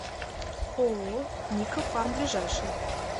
ооо никафарм ближайший